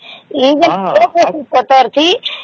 ହଁ